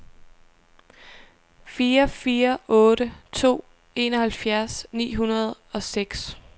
fire fire otte to enoghalvfjerds ni hundrede og seks